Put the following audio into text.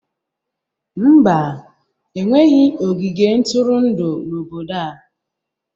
Mba, enweghị ogige ntụrụndụ n'obodo a